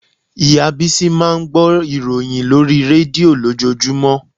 Ìyá Bísí máa ń gbọ́ ìròyìn lórí rédíò lójoojúmọ́